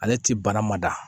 Ale ti bana ma da